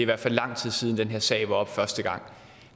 hvert fald lang tid siden den her sag var oppe første gang